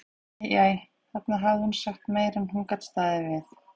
Æ, æ, þarna hafði hún sagt meira en hún gat staðið við.